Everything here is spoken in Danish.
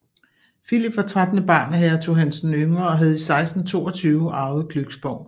Philip var trettende barn af hertug Hans den Yngre og havde i 1622 arvet Glücksborg